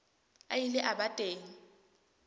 a ile a ba teng